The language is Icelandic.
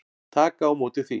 Taka á móti því.